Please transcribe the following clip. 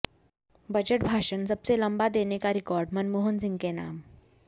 budget भाषण सबसे लंबा देने का रिकॉर्ड मनमोहन सिंह के नाम